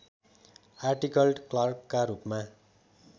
आर्टिकल्ड क्लर्कका रूपमा